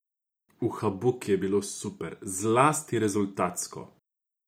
V Hakubi je bilo super, zlasti rezultatsko.